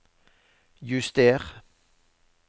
juster